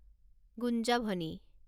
গুঞ্জাভনি